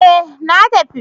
Eh na tafi.